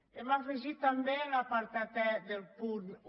hem afegit també en l’apartat e del punt un